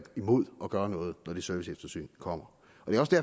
imod at gøre noget når det serviceeftersyn kommer